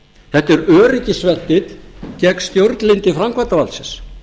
þetta er öryggisventill gegn stjórnlyndi framkvæmdarvaldsins